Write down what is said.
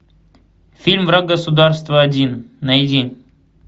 фильм враг государства один найди